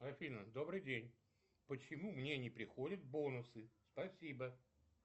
афина добрый день почему мне не приходят бонусы спасибо